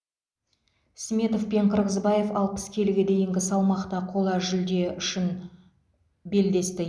сметов пен қырғызбаев алпыс келіге дейінгі салмақта қола жүлде үшін белдесті